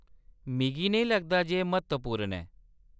मिगी नेईं लगदा जे एह्‌‌ म्हत्तवपूर्ण ऐ।